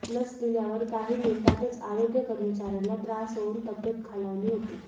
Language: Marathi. लस दिल्यावर काही मीनिटातच आरोग्य कर्मचाऱ्यांना त्रास होऊन तब्येत खालावली होती